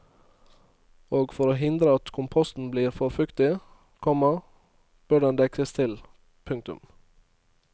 Og for å hindre at komposten blir for fuktig, komma bør den dekkes til. punktum